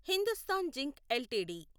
Hindustan zinc LTD